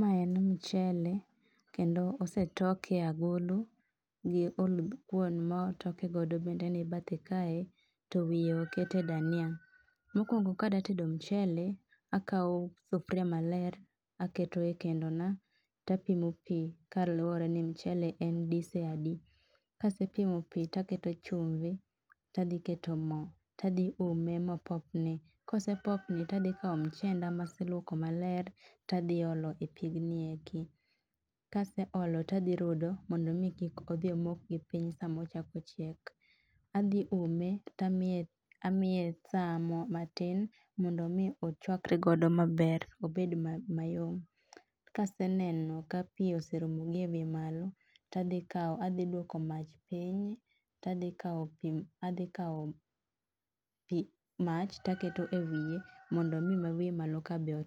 Mae en mchele kendo osetoke e agulu. Gi oluthkuon motoke godo bende ni bathe kae. To wiye oketie dania. Mokuongo kadwa tedo mchele to akawo sufuria maler aketo ekendo na to apimo pi kaluwore ni mchele en dise adi. Kase pimo pi to apimo mo to aketo chumbi, adhi ume mopopni, kosepopni to adhi kawo mchenda ,maseluoko maler to adhi olo e pigni eki. Kase olo to adhi rudo mondo mi kik omok gipiny sama ochako chiek. Adhi ume eka amiye amiye saa matin mondo mi ochauakre maber, obed mayom. Kaseneno ka pi oserumo gie iwiye malo to adhi kawo adhinduoko mach piny to adhi kawo mach to aketo e wiye mondo mi ma wiye malo ka bende